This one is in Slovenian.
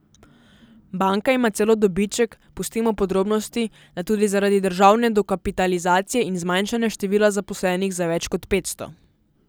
Banka ima celo dobiček, pustimo podrobnosti, da tudi zaradi državne dokapitalizacije in zmanjšanja števila zaposlenih za več kot petsto.